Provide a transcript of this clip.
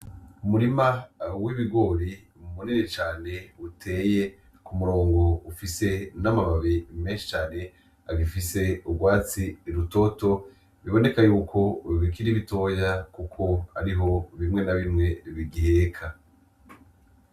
Umurima w'ibigori munini cane uteye kumurongo, ufise n'amababi menshi cane agifise urwatsi rutoto, biboneka yuko bikiri bitoya kuko ariho bimwe na bimwe bigiheka.